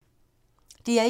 DR1